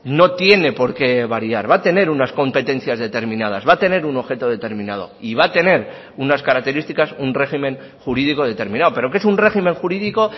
no tiene por qué variar va a tener unas competencias determinadas va a tener un objeto determinado y va a tener unas características un régimen jurídico determinado pero que es un régimen jurídico